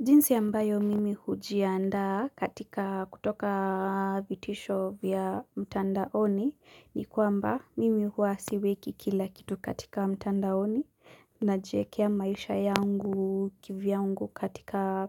Jinsi ambayo mimi hujiandaa katika kutoka vitisho vya mtandaoni ni kwamba mimi huwa siweki kila kitu katika mtandaoni najiekea maisha yangu kivyangu katika